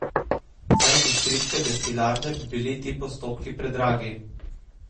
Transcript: Za industrijske destilarne bi bili ti postopki predragi.